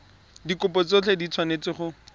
dikopo tsotlhe di tshwanetse go